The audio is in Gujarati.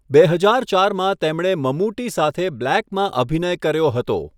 બે હજાર ચારમાં તેમણે મમૂટી સાથે બ્લેકમાં અભિનય કર્યો હતો.